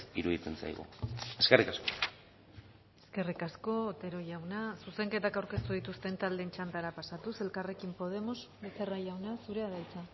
iruditzen zaigu eskerrik asko eskerrik asko otero jauna zuzenketak aurkeztu dituzten taldeen txandara pasatuz elkarrekin podemos becerra jauna zurea da hitza